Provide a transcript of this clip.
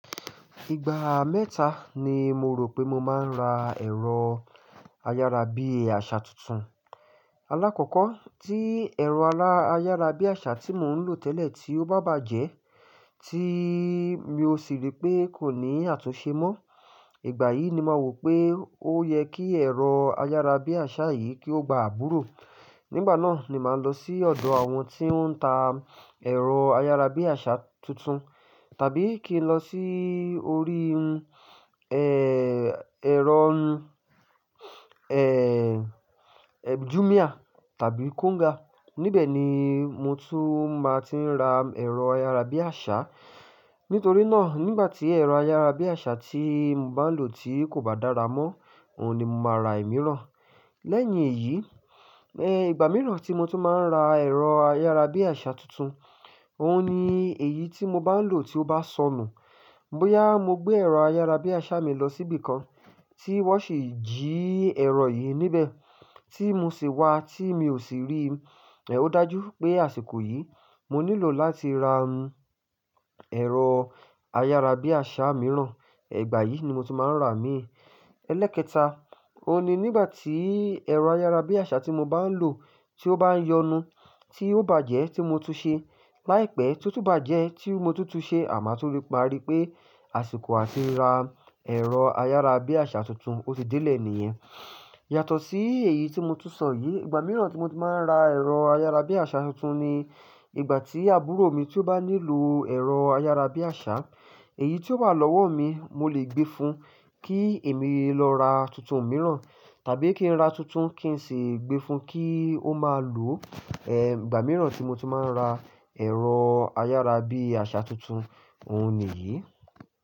Ìgbà mẹ́ta ni mo rò pé mo máa ń ra ẹ̀rọ ayárabíàṣà tuntun. Alákọ̀kọ́ tí ẹ̀rọ al-- áyárabíàṣà tí mò ń lò tẹ́lẹ̀ tí ó bá bàjẹ́, tí mi ò sì rí pé kò ní àtúnṣe mọ́, ìgbà yìí ni mà wò pé ó yẹ kí ẹ̀rọ ayárabíàṣà yìí kí ó gba àbúrò. Nígbà náà ni màá lọ sí ọ̀dọ̀ àwọn tí wọ́n ń ta ẹ̀rọ ayárabíàṣà tuntun, tàbí kí n lọ sí orí, e, ẹ̀rọ, e, e, Jumia tàbí Konga. Nibẹ̀ ni mo tún máa ti ń ra ẹ̀rọ ayárabíàṣà. Nítorí náà nígbà tí ẹ̀rọ ayárabíàṣà tí mò bá ń lò ti kò bá dára mọ́, òun ni mo máa ra ìmíràn. Lẹ́yìn èyí, e, ìgbà mìíràn tí mo tún máa ń ra ẹ̀rọ ayárabíàṣà tuntun, òun ni èyí tí mò bá ń lò tí ó bá sọnù. Bóyá mo gbé ẹ̀rọ ayárabíàṣà mi lọ síbi kan tí wọ́n sì jí ẹ̀rọ yìí níbẹ̀, tí mo sì wá, tí mi ò sì rí, eh, ó dájú pé àsìkò yìí mo nílò láti ra, ẹ̀rọ ayárabíàṣà mìíràn. Ìgbà yìí ni mo tún máa ń rà á imi n. Elẹ́ekẹta, òun ni nígbà tí ẹ̀rọ ayárabíàṣà tí mò bá ń lò tí ó bá yọnu, tí ó bàjẹ́ tí mo tún ṣe, láìpẹ́, tó tún bàjẹ́ tí mo tún tún ṣe àh ma tun ri, ma ri pé àsìkò àti ra ẹ̀rọ ayárabíàṣà tuntun, ó ti dílẹ̀ nìyẹn. Yàtọ̀ sí èyí tí mo tún sọ yìí, ìgbà mìíràn tí mo tun máa ń ra ẹ̀rọ ayárabíàṣà tuntun ni ìgbà tí àbúrò mi tí ó bá nílò ẹ̀rọ ayárabíàṣà, èyí tí ó wà lọ́wọ́ mi mo lè gbé fun kí èmi lọ ra tuntun mìíràn, tàbí kí n ra tuntun kí n sì gbé fun kí ó máa lò. Eh, ìgbà mìíràn tí mo tún máa ń ra ẹ̀rọ ayárabíàṣà tuntun, òun niyí.